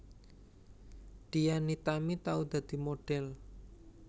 Dian Nitami tau dadi modhel